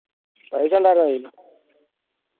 paisa ഉണ്ടായിരുന്നോ കയ്യിൽ